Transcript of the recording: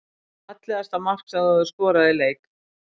Fallegasta mark sem þú hefur skorað í leik?